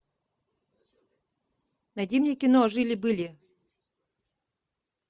найди мне кино жили были